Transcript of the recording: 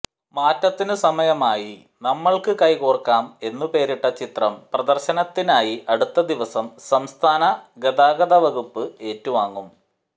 മാറ്റത്തിന് സമയമായി നമ്മള്ക്ക് കൈകോര്ക്കാം എന്നുപേരിട്ട ചിത്രം പ്രദര്ശനത്തിനായി അടുത്തദിവസം സംസ്ഥാനഗതാഗതവകുപ്പ് ഏറ്റുവാങ്ങും